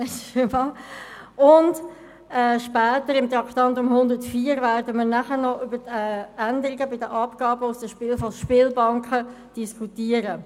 Später, unter dem Traktandum 104, werden wir über die Änderungen der Abgaben der Spielbanken diskutieren.